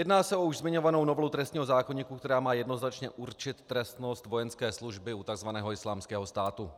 Jedná se o už zmiňovanou novelu trestního zákoníku, která má jednoznačně určit trestnost vojenské služby u tzv. Islámského státu.